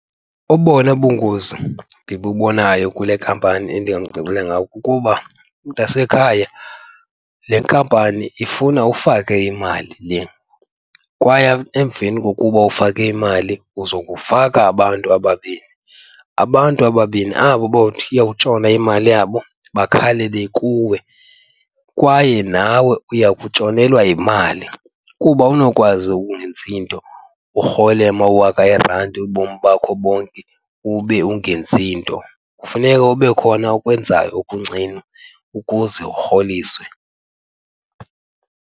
Obona bungozi ndibubonayo kule khampani endingamcebisa ngayo kukuba mntasekhaya le nkampani ifuna ufake imali le. Kwaye emveni kokuba ufake imali uzokufaka abantu ababini, abantu ababini abo bowuthi yokutshona imali yabo bakhaele kuwe kwaye nawe uya kutshonelwa yimali. Kuba awunokwazi ukungenzi nto urhole amawaka eerandi ubomi bakho bonke ube ungenzi nto. Kufuneka kube khona okwenzayo okuncinci ukuze urholiswe.